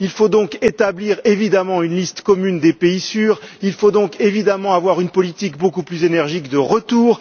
Il faut donc établir évidemment une liste commune des pays sûrs il faut donc évidemment avoir une politique beaucoup plus énergique de retour